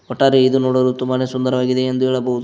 ಒಟ್ಟಾರೆ ಇದು ನೋಡಲು ತುಂಬಾನೆ ಸುಂದರವಾಗಿದೆ ಎಂದು ಹೇಳಬಹುದು.